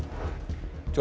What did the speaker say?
John